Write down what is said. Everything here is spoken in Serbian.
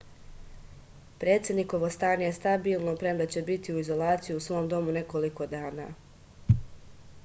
predsednikovo stanje je stabilno premda će biti u izolaciji u svom domu nekoliko dana